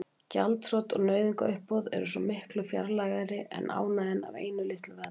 Gjaldþrot og nauðungaruppboð eru svo miklu fjarlægari en ánægjan af einu litlu veðmáli.